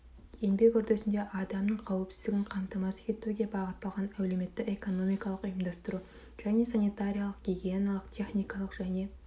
еңбек үрдісінде адамның қауіпсіздігін қамтамасыз етуге бағытталған әлеуметті экономикалық ұйымдастыру және санитариялық гигиеналық техникалық және